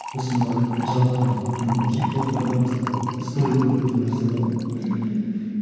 сосын барып жалпы мына не де хит хоп та да мысалы сторителлинг деген нәрсе бар ғой мхм